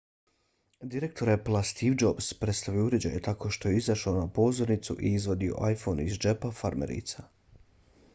direktor applea steve jobs predstavio je uređaj tako što je izašao na pozornicu i izvadio iphone iz džepa farmerica